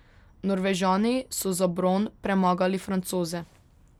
Norvežani so za bron premagali Francoze.